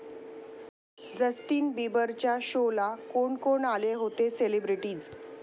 Justin बिबरच्या शोला कोण कोण आले होते सेलिब्रिटीज्?